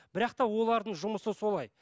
бірақ та олардың жұмысы солай